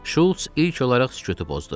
Şults ilk olaraq sükutu pozdu.